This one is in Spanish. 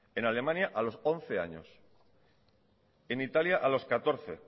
en alemania a los once años en italia a los catorce